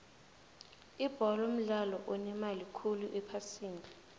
ibholo mdlalo onemali khulu ephasini